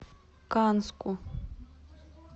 канску